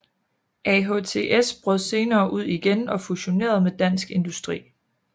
AHTS brød senere ud igen og fusionerede med Dansk Industri